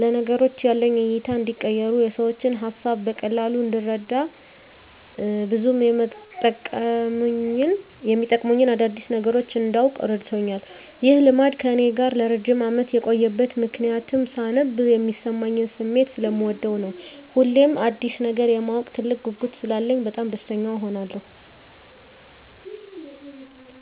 ለነገሮች ያለኝ እይታ እንዲቀየር፣ የሰዎችን ሀሳብ በቀላሉ እንድረዳ፣ ብዙ የመጠቅሙኝን አዳዲስ ነገሮች እንዳውቅ እረድቶኛል። ይህ ልማድ ከእኔ ጋር ለረጅም አመት የቆየበት ምክንያትም ሳነብ የሚሰማኝን ስሜት ሰለምወደው ነው። ሁሌም አዲስ ነገር የማወቅ ትልቅ ጉጉት ስላለኝ በጣም ደስተኛ እሆናለሁ።